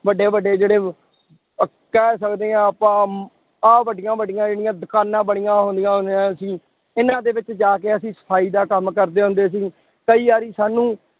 ਵੱਡੇ ਵੱਡੇ ਜਿਹੜੇ ਅਹ ਕਹਿ ਸਕਦੇ ਹਾਂ ਆਪਾਂ ਆਹ ਵੱਡੀਆਂ ਵੱਡੀਆਂ ਜਿਹੜੀਆਂ ਦੁਕਾਨਾਂ ਬਣੀਆਂ ਹੁੰਦੀਆਂ ਹੁੰਦੀਆਂ ਸੀ ਇਹਨਾਂ ਦੇ ਵਿੱਚ ਜਾ ਕੇ ਅਸੀਂ ਸਫ਼ਾਈ ਦਾ ਕੰਮ ਕਰਦੇ ਹੁੰਦੇ ਸੀ, ਕਈ ਵਾਰੀ ਸਾਨੂੰ